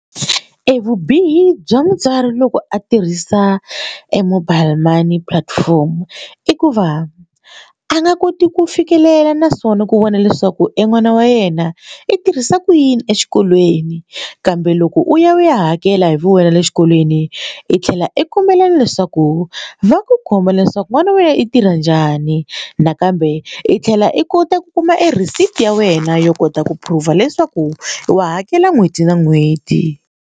Evubihi bya mutswari loko a tirhisa e mobile money platform i ku va a nga koti ku fikelela naswona ku vona leswaku en'wana wa yena i tirhisa ku yini exikolweni kambe loko u ya u ya hakela hi vuwena le xikolweni i tlhela i kombela leswaku va ku komba leswaku n'wana wa wena i tirha njhani nakambe i tlhela i kota ku kuma receipt na wena yo kota ku prove leswaku wa hakela n'hweti na n'hweti.